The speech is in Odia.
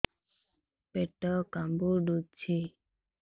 ପେଟ କାମୁଡୁଛି